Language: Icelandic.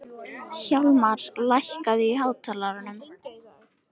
Hjálmar, lækkaðu í hátalaranum.